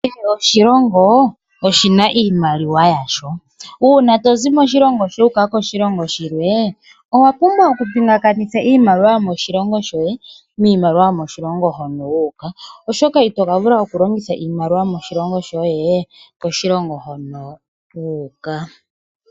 Kehe oshilongo oshina iimaliwa yasho. Uuna tozi moshilongo shoye wuuka koshilongo shilwe, owa pumbwa okupingakanitha iimaliwa yomoshilongo shoye niimaliwa yomoshilongo hono wu uka oshoka itoka vula oku longitha iimaliwa yomoshilongo shoye koshilongo hono wu uka.